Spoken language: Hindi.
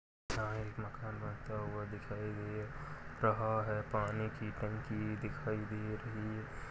यहाँ एक मकान बनता हुआ दिखाई दे रहा है पानी की टंकी दिखाई दे रही है।